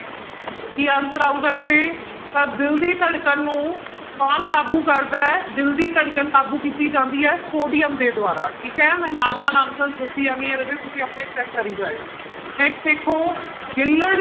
ਕੀ answer ਆਊਗਾ ਰਾਜੇ ਤਾਂ ਦਿਲ ਦੀ ਧੜਕਣ ਨੂੰ ਕੌਣ ਕਾਬੂ ਕਰਦਾ ਹੈ, ਦਿਲ ਦੀ ਧੜਕਣ ਕਾਬੂ ਕੀਤੀ ਜਾਂਦੀ ਹੈ ਸੋਡੀਅਮ ਦੇ ਦੁਆਰਾ ਠੀਕ ਹੈ ਮੈਂ ਨਾਲ ਨਾਲ answer ਦੱਸੀ ਜਾਂਦੀ ਹਾਂ ਰਾਜੇ ਤੁਸੀਂ ਆਪਣੇ ਕਰੀ ਜਾਇਓ next ਦੇਖੋ ਗਿੱਲੜ